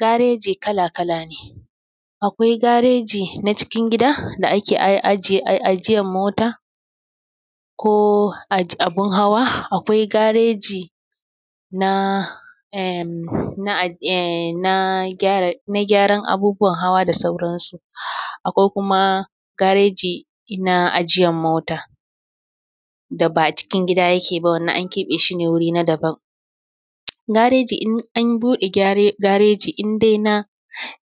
Gareji kala kala ne. Akwai gareji na cikin gida da ake ajiye ajiyan mota ko abin hawa, akwai gareji na em em na gyara abubuwan hawa da sauran su akwai kuma gareji na ajiyar mota da ba a cikin gida yake ba, wannan an keɓe shi ne wuri na daban. Gareji in an buɗe gareji in dai na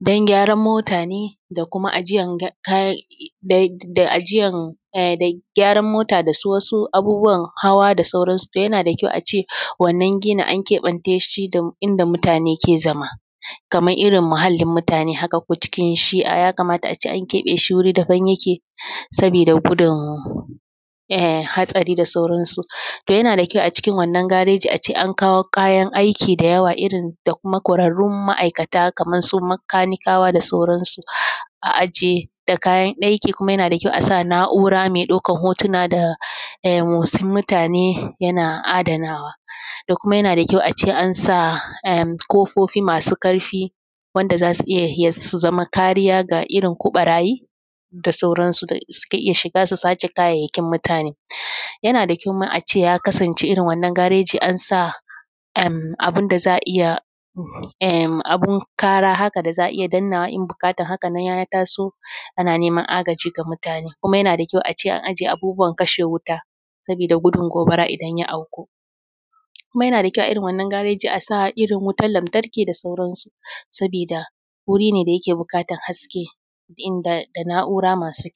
dan gyaran mota ne da kuma ajiyan kayan da ajiyan da gyaran da su wasu abubuwan hawa da sauran su, toh yana da kyau a ce wanna ginin an keɓen ta shi da inda mutane ke zama, kamar irin muhallin mutane ko cikin shiya, ya kamata a ce an keɓe shi wuri daban yake sabida gudun hatsari da sauran su toh yana da kyau a cikin wannan gareji a ce an kawo kayan aiki da yawa irin da kuma ƙwararrun ma’aikata kamar su makanikawa da sauran su. A ajiye da kayan aiki kuma yana da kyau a sa na’ura mai ɗaukar hotuna da motsin mutane yana adanawa. Da kuma yana da kyau a ce an sa emmm ƙofofi masu ƙarfi wanda za su iya su zama kariya ga irin ko ɓarayi da sauran su da suke iya shiga su sace kayan mutane. Yana da kyau ma a ce ya kasance irin wannan gareji an sa em abin da za a iya emm abun ƙara haka da a a iya dannawa in buƙatar hakanan ya taso ana neman agaji ga mutane. Kuma yana da kyau ace an ajiye abubuwan kasha wuta sabida gudun gobara idan ya auku. Kuma yana da kyau a irin wannan gareji a sa irin wutan lantarki da sauran su sabida wuri ne da yake buƙatar haske inda da na’ura masu.